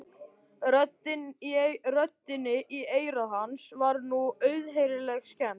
Röddinni í eyra hans var nú auðheyrilega skemmt.